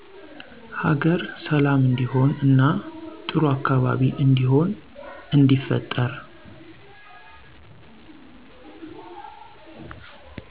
ሀገር ሠላም እንዲሆን እና ጥሩ አካባቢ እንዲሆን እንዲፈጠር